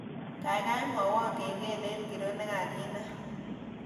Gaigai mwawon kengelet ngiro negaginam